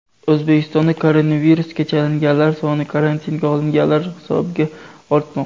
O‘zbekistonda koronavirusga chalinganlar soni karantinga olinganlar hisobiga ortmoqda.